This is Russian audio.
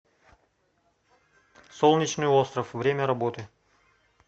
солнечный остров время работы